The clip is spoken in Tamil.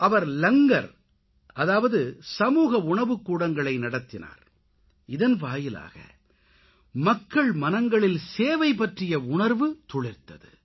அவர் லங்கர் அதாவது சமூக உணவுக்கூடங்களை நடத்தினார் இதன் வாயிலாக மக்கள் மனங்களில் சேவை பற்றிய உணர்வு துளிர்த்தது